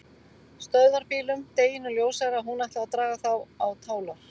Stöðvarbílum, deginum ljósara að hún ætlaði að draga þá á tálar.